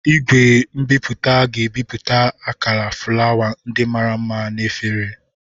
Igwe nbipute ga-ebipụta akala fụlawa ndị mara mma na efere